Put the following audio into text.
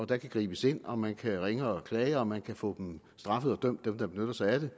der kan gribes ind og man kan ringe og klage og man kan få dem der benytter sig af det